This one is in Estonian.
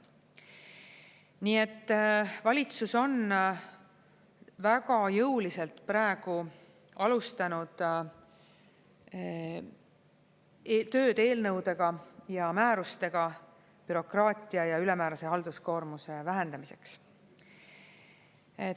Nii et valitsus on väga jõuliselt praegu alustanud tööd eelnõudega ja määrustega bürokraatia ja ülemäärase halduskoormuse vähendamiseks.